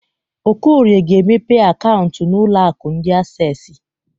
Okorie ga-emepe akaụntụ n'ụlọ akụ ndi Accessi.